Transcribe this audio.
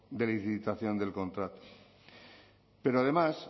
de licitación del contrato pero además